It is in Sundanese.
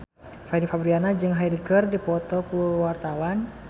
Fanny Fabriana jeung Hyde keur dipoto ku wartawan